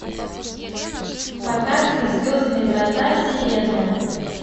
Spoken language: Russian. показывай звездные врата вселенная